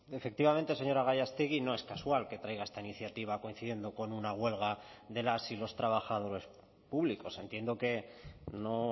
efectivamente señora gallástegui no es casual que traiga esta iniciativa coincidiendo con una huelga de las y los trabajadores públicos entiendo que no